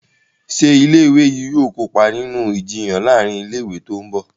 Ṣe ilé ìwé yí yóò kópa nínú Ìjiyàn láàrin ilé ìwé tó ńbo?